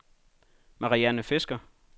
Marianne Fisker